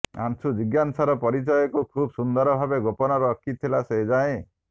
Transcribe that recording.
ଅଂଶୁ ଜିଜ୍ଞାସାର ପରିଚୟକୁ ଖୁବ୍ ସୁନ୍ଦର ଭାବେ ଗୋପନ ରଖିଥିଲା ସେଯାଏଁ